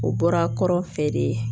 O bɔra kɔrɔ fɛde